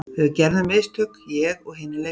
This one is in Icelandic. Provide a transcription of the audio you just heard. Við gerðum mistök, ég og hinir leikmennirnir.